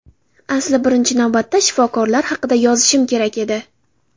Asli birinchi navbatda shifokorlar haqida yozishim kerak edi.